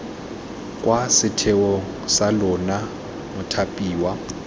kwa setheong sa lona mothapiwa